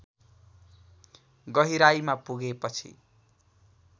गहिराईमा पुगे पछि